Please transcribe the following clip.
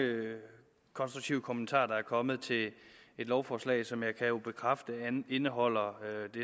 konstruktive kommentarer der er kommet til et lovforslag som jeg jo kan bekræfte indeholder